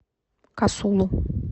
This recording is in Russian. касулу